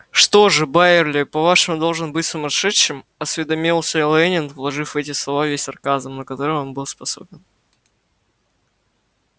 что же байерли по-вашему должен быть сумасшедшим осведомился лэннинг вложив в эти слова весь сарказм на который он был способен